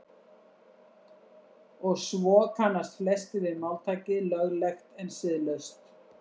Og svo kannast flestir við máltækið löglegt en siðlaust.